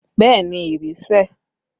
Bẹẹ ni, ìrì sẹ̀